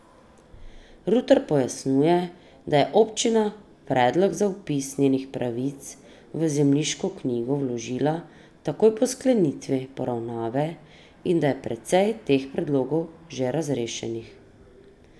Rutar pojasnjuje, da je občina predlog za vpis njenih pravic v zemljiško knjigo vložila takoj po sklenitvi poravnave in da je precej teh predlogov že razrešenih.